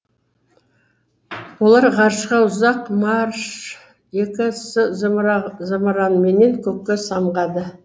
олар ғарышқа ұзақ марш екі с зымыраныменен көкке самғады